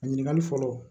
A ɲininkali fɔlɔ